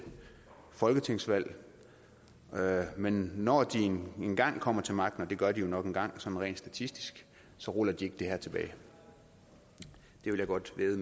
folketingsvalg men når de engang kommer til magten og det gør de jo nok engang sådan rent statistisk så ruller de ikke det her tilbage det vil jeg godt vædde